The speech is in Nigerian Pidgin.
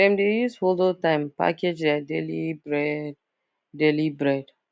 dem dey use holdup time package their daily bread daily bread